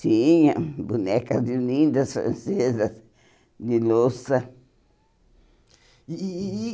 Tinha bonecas lindas, francesas, de louça. E e e